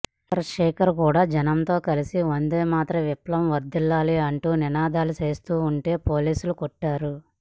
చంద్రశేఖర్ కూడా జనంతో కలిసి వందేమాతరం విప్లవం వర్ధిల్లాలి అంటూ నినాదాల చేస్తుంటే పోలీసులు కొట్టారు